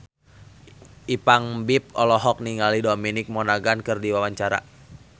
Ipank BIP olohok ningali Dominic Monaghan keur diwawancara